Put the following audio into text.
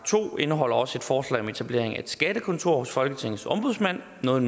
indeholder også et forslag om etablering af et skattekontor hos folketingets ombudsmand noget